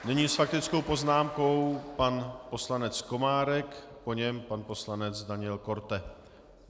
Nyní s faktickou poznámkou pan poslanec Komárek, po něm pan poslanec Daniel Korte.